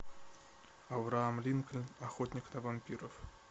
авраам линкольн охотник на вампиров